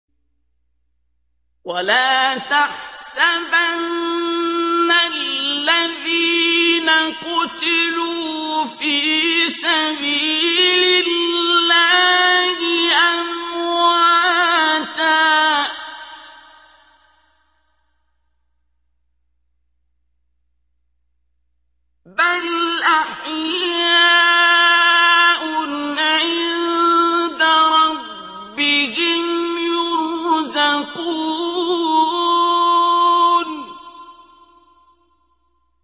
وَلَا تَحْسَبَنَّ الَّذِينَ قُتِلُوا فِي سَبِيلِ اللَّهِ أَمْوَاتًا ۚ بَلْ أَحْيَاءٌ عِندَ رَبِّهِمْ يُرْزَقُونَ